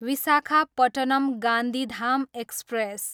Visakhapatnam, Gandhidham express